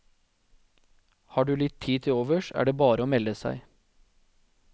Har du litt tid til overs, er det bare å melde seg.